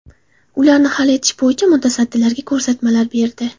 Ularni hal etish bo‘yicha mutasaddilarga ko‘rsatmalar berdi.